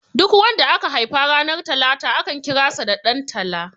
Duk wanda aka haifa ranar talata akan kira sa da Dan tala